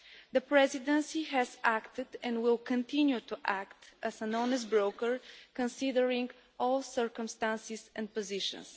The Presidency has acted, and will continue to act, as an honest broker considering all circumstances and positions.